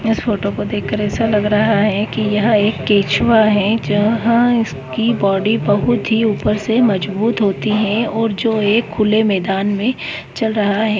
इस फोटो को देखकर ऐसा लग रहा है कि यह एक केंचुआ है जहां इसकी बॉडी बहुत ही ऊपर से मजबूत होती है और जो एक खुले मैदान में चल रहा है।